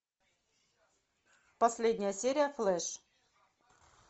последняя серия флэш